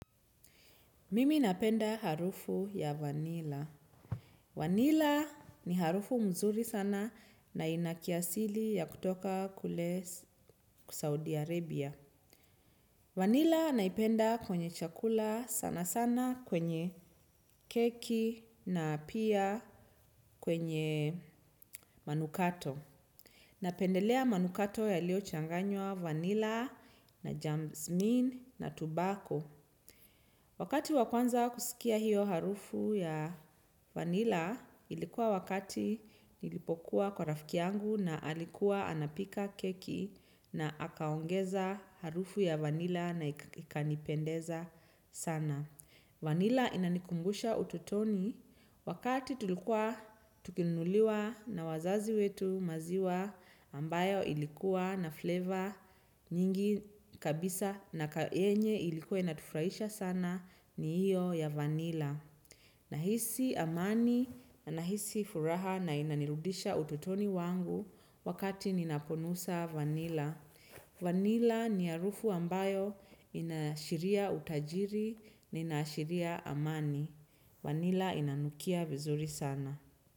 Mimi napenda harufu ya vanila. Vanila ni harufu mzuri sana na inakiasili ya kutoka kule Saudi Arabia. Vanila naipenda kwenye chakula sana sana kwenye keki na pia kwenye manukato. Napendelea manukato ya lio changanywa vanila na jamzmin na tubako. Wakati wa kwanza kusikia hiyo harufu ya vanilla ilikuwa wakati nilipokuwa kwa rafiki yangu na alikuwa anapika keki na akaongeza harufu ya vanilla na ikanipendeza sana. Vanila inanikumbusha ututoni wakati tulikuwa tukinunuliwa na wazazi wetu maziwa ambayo ilikuwa na flavor nyingi kabisa na ka yenye ilikuwa ina tufraisha sana ni hiyo ya vanila. Nahisi amani na nahisi furaha na inanirudisha ututoni wangu wakati ninaponusa vanila. Vanilla ni harufu ambayo inaashiria utajiri na ina ashiria amani. Vanila inanukia vizuri sana.